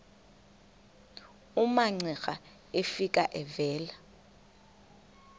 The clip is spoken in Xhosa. umamcira efika evela